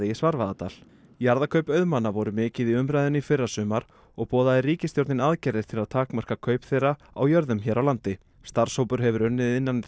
í Svarfaðardal jarðakaup auðmanna voru mikið í umræðunni í fyrrasumar og boðaði ríkisstjórnin aðgerðir til að takmarka kaup þeirra á jörðum hér á landi starfshópur hefur unnið innan